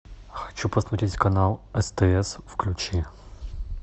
хочу посмотреть канал стс включи